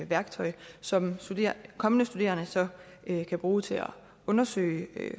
værktøj som kommende studerende så kan bruge til at undersøge